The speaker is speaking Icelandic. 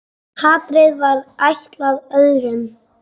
Hatrið var ætlað öðrum.